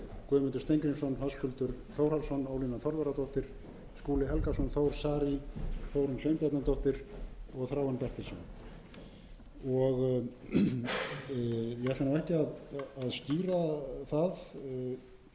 guðmundur steingrímsson höskuldur þórhallsson ólína þorvarðardóttir skúli helgason þór saari þórunn sveinbjarnardóttir og þráinn bertelsson ég ætla ekki að skýra nákvæmt orðalag